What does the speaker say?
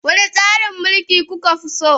Wane tsarin mulki kuka fi so?